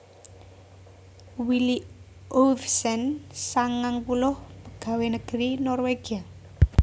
Willy Ovesen sangang puluh pagawé negeri Norwégia